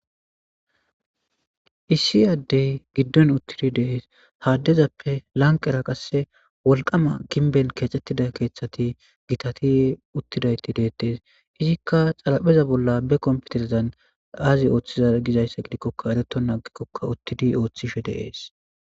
Issi addey giddon uttidi deees haaddezappe lanq era qasse wolqama ginben keexettida keeththati gitati uttidayti deettes izikka xalapheza bolla be komputerzan aazi ooththiza gizayssa gidikkoka ereto nagikkokka uttidi ooththishe deees.